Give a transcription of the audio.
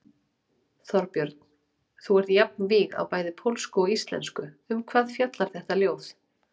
Þorbjörn: Þú ert jafnvíg á bæði pólsku og íslensku, um hvað fjallar þetta ljóð?